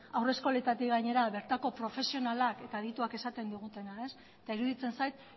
haurreskoleetatik gainera bertako profesionalak eta adituak esaten duena da eta iruditzen zait